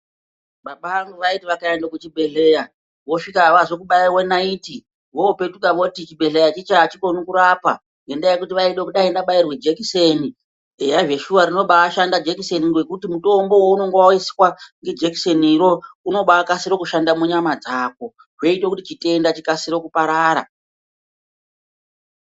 Baba vangu vaiti vakaende kuchibhedhleyaa vosvika havasi kubaiwa naiti voopetuuka voti chibhedhleya hachikoni kurapa ngendaa yokuti vaiti dai ndabairwe jekiseni, eya zveshuwaa rinobashanda jekiseni ngekuti mutombo unenge waiswa nejekiseniroo unobaakasira kushanda munyama dzako, zvoite kuti chitenda chikasiro kuparara.